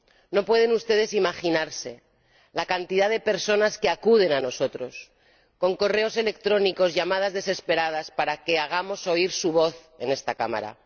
No pueden ustedes imaginarse la cantidad de personas que acude a nosotros con correos electrónicos y llamadas desesperadas, para que hagamos oír su voz en esta Cámara.